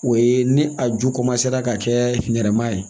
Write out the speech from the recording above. O ye ni a ju ka kɛ nɛrɛma ye